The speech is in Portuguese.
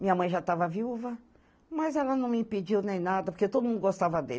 Minha mãe já estava viúva, mas ela não me impediu nem nada, porque todo mundo gostava dele.